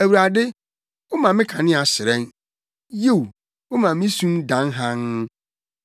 Awurade, woma me kanea hyerɛn. Yiw, woma me sum dan hann.